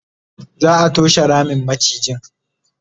za'a toshe Ramin macijin